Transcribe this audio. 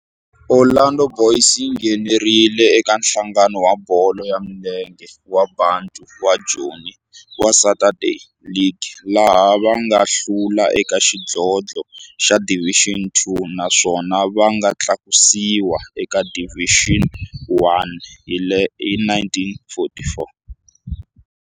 Orlando Boys yi nghenelerile eka Nhlangano wa Bolo ya Milenge wa Bantu wa Joni wa Saturday League, laha va nga hlula eka xidlodlo xa Division Two naswona va nga tlakusiwa eka Division One hi 1944.